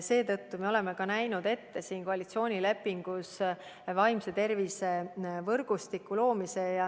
Seetõttu me olemegi näinud koalitsioonilepingus ette vaimse tervise võrgustiku loomise.